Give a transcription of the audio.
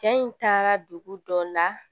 Cɛ in taara dugu dɔ la